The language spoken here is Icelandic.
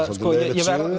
ég